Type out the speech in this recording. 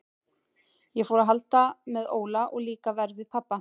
Ég fór að halda með Óla og líka verr við pabba.